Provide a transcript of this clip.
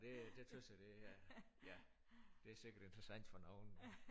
Ej det det tys jeg det er ja det er sikkert interessant for nogen